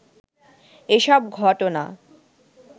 এসব ঘটনা